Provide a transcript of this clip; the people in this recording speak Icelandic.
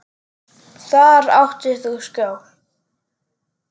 Þar áttir þú skjól.